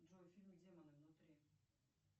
джой фильм демоны внутри